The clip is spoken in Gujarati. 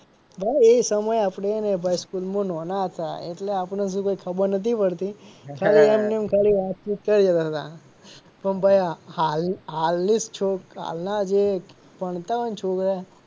ભાઈ એ સમય ભાઈ આપડે હે ને ભાઈ સ્કૂલમાં નાના હતા એટલે આપણ ને શું કઈ ખબર નતી પડતી ખાલી એમને એમ ખાલી વાતચીત કર્યે જતાં હતા પણ ભાઈ હાલ ની હાલ ની જે છો હાલ ના જે ભણતા હોય ને છોકરા